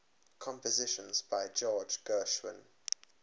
compositions by george gershwin